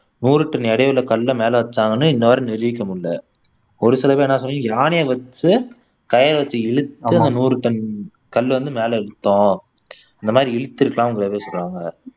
நூறு டன் எடையுள்ள கல்லை மேல வச்சாங்கன்னு இன்னவரை நிரூபிக்க முடியல ஒரு சில பேர் என்ன சொல்றாங்கன்னா யானையை வச்சு கயிறு வச்சு இழுத்து அந்த நூறு டன் கல்ல வந்து மேல இழுத்தோம் அந்த மாதிரி இழுத்துருப்பாங்கன்னு நிறைய பேர் சொல்றாங்க